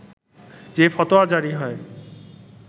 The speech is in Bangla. যে ফতোয়া জারি হয়